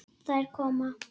Þær koma.